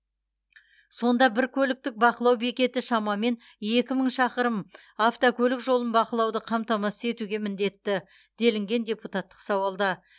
сонда бір көліктік бақылау бекеті шамамен екі мың шақырым автокөлік жолын бақылауды қамтамасыз етуге міндетті делінген депутаттық сауалда